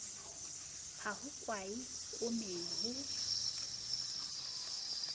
ha ho kwae koomeng ho